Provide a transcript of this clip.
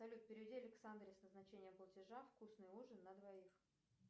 салют переведи александре с назначением платежа вкусный ужин на двоих